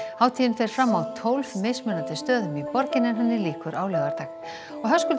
hátíðin fer fram á tólf mismunandi stöðum í borginni en henni lýkur á laugardag Höskuldur